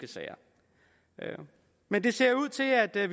sager men det ser ud til at vi